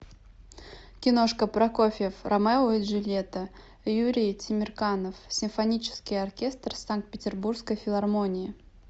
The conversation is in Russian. киношка прокофьев ромео и джульетта юрий темирканов симфонический оркестр санкт петербургской филармонии